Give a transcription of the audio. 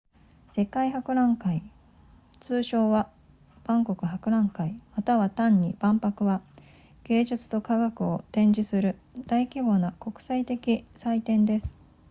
世界博覧会通称は万国博覧会または単に万博は芸術と科学を展示する大規模な国際的祭典です